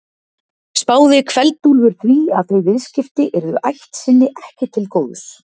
Spáði Kveld-Úlfur því að þau viðskipti yrðu ætt sinni ekki til góðs.